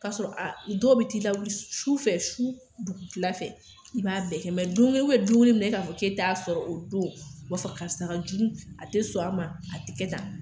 K'a sɔrɔ a dɔw b'i t'i la wili sufɛ, su dugukilafɛ, i b'a bɛɛ kɛ mɛ don kelen don kelen min na i k'a fɔ k'e t'a sɔrɔ o don, o b'a fɔ karisa kajugu a tɛ sɔn an ma, a tɛ kɛ tan.